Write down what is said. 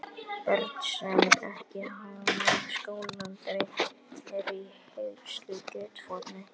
Börn, sem ekki hafa náð skólaaldri, eru í hirðuleysi í götuforinni.